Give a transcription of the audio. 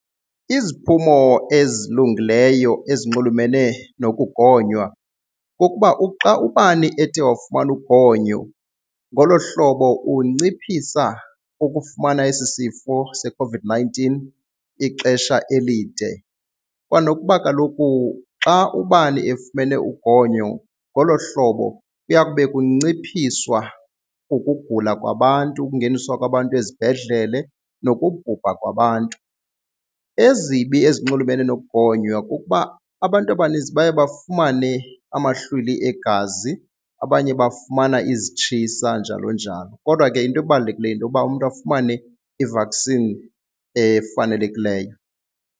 Iziphumo ezilungileyo ezinxulumene nokugonywa kukuba uxa ubani ethe wafumana ugonyo ngolo hlobo unciphisa ukufumana esi sifo seCOVID-nineteen ixesha elide kwanokuba kaloku xa ubani efumene ugonyo ngolo hlobo kuya kube kunciphiswa ukugula kwabantu, ukungeniswa kwabantu ezibhedlele nokubhubha kwabantu. Ezibi ezinxulumene nokugonywa kukuba abantu abaninzi baye bafumane amahlwili egazi, abanye bafumana izitshisa, njalo njalo. Kodwa ke into ebalulekileyo yinto yoba umntu afumane i-vaccine efanelekileyo.